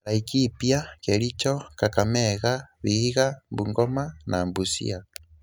Laikipia, Kericho, Kakamega, Vihiga, Bungoma, and Busia